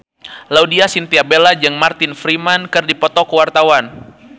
Laudya Chintya Bella jeung Martin Freeman keur dipoto ku wartawan